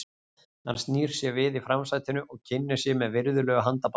Hann snýr sér við í framsætinu og kynnir sig með virðulegu handabandi.